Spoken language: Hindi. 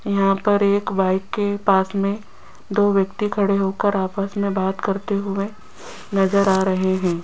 यहां पर एक बाइक के पास में दो व्यक्ति खड़े होकर आपस में बात करते हुए नजर आ रहे हैं।